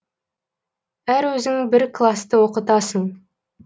әрі өзің бір класты оқытасың